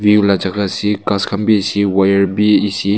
view la jaka ase ghas khan bi ase wire bi ase.